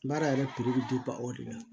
Baara yɛrɛ bɛ o de la